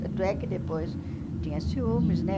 Tanto é que depois tinha ciúmes, né?